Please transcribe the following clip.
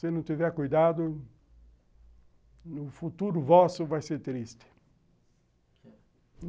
Se não tiver cuidado, o futuro vosso vai ser triste.